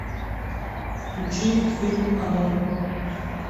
включи фильм оно